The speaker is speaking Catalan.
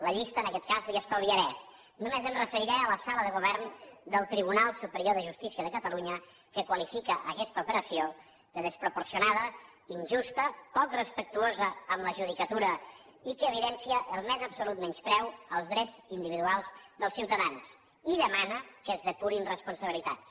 la llista en aquest cas la hi estalviaré només em referiré a la sala de govern del tribunal superior de justícia de catalunya que qualifica aquesta operació de desproporcionada injusta poc respectuosa amb la judicatura i que evidencia el més absolut menyspreu als drets individuals dels ciutadans i demana que es depurin responsabilitats